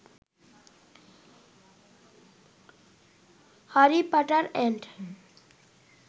Harry Potter and